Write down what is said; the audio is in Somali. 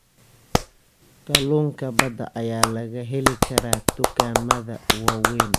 Kalluunka badda ayaa laga heli karaa dukaamada waaweyn.